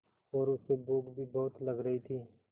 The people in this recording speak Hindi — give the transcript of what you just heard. और उसे भूख भी बहुत लग रही थी